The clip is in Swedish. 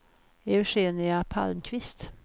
Eugenia Palmqvist